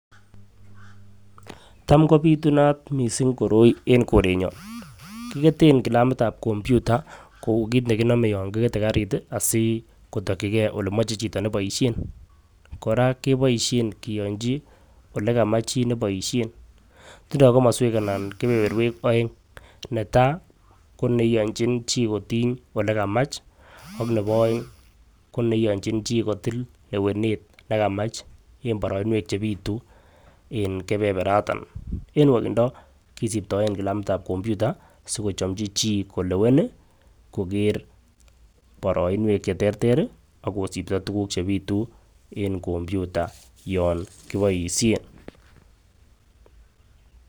Tam kopitunat missing' koroi en korenyon kiketen kilamitab komputa kou kit nekinome yon kikeye karit tii asii kotokigee olemoche chito neboishen. Koraa keboishen kiyochi olekamach chii neboishen , tindo komoswek anan kebeberwek oeng' netai ko neiyochi chii kotinye olekamach an nebo oeng' ko neiyochi chii kotil lewenet nekamach en boroinuek chepitu en kebeberaton. En ng'wokindo kisiptoe kilamitab komputa sikochomchi chii kolewen nii koker boroinwek cheterter rii akosipto tukuk chepitu en komputa yon kiboishen.